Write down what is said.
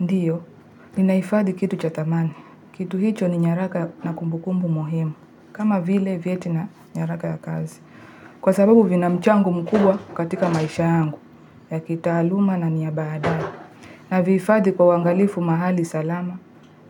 Ndiyo, ninaifadhi kitu cha thamani. Kitu hicho ni nyaraka na kumbukumbu muhimu. Kama vile vyeti na nyaraka ya kazi. Kwa sababu vina mchango mkubwa katika maisha yangu ya kitaaluma na ni ya badani. Na vihifadhi kwa uangalifu mahali salama